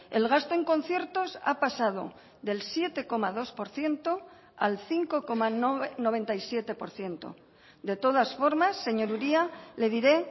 el gasto en conciertos ha pasado del siete coma dos por ciento al cinco coma noventa y siete por ciento de todas formas señor uria le diré